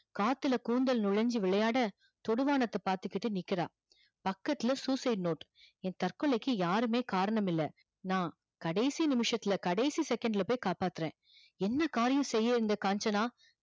காத்துல கூந்தல் நுழைஞ்சி விளையாட தொடு வானத்த பாத்துகிட்டு நிக்கிறா பக்கத்துல suicide note ய தற்கொலைக்கு யாருமே காரணம் இல்ல நா கடைசி நிமிசத்துல கடைசி second போய் காப்பாத்துற என்ன காரியம் செய்யிது இந்த காஞ்சனா